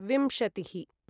विंशतिः